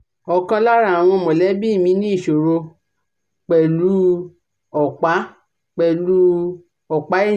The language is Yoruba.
ọ̀kan lára àwọn mọ̀lẹ́bi mi ní ìṣòro pẹ̀lú u ọ̀pa pẹ̀lú u ọ̀pa ẹ̀yìn